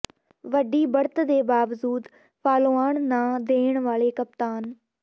ਵੱਡੀ ਬੜ੍ਹਤ ਦੇ ਬਾਵਜੂਦ ਫਾਲੋਆਨ ਨਾ ਦੇਣ ਵਾਲੇ ਕਪਤਾਨ